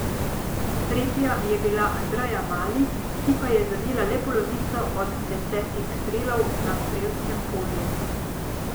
Tretja je bila Andreja Mali, ki pa je zadela le polovico od desetih strelov na strelskem polju.